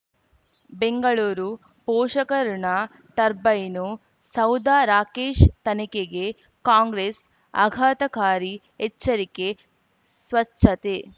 ಬೆಂಗಳೂರು ಪೋಷಕರಋಣ ಟರ್ಬೈನು ಸೌಧ ರಾಕೇಶ್ ತನಿಖೆಗೆ ಕಾಂಗ್ರೆಸ್ ಆಘಾತಕಾರಿ ಎಚ್ಚರಿಕೆ ಸ್ವಚ್ಛತೆ